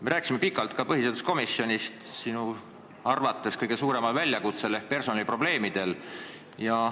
Me peatusime pikalt ka põhiseaduskomisjonis sinu arvates kõige suuremal ülesandel ehk personaliprobleemidel.